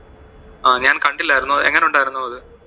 അഹ് ഞാൻ കണ്ടില്ലായിരുന്നു അഹ് എങ്ങനെ ഉണ്ടായിരുന്നു അത്?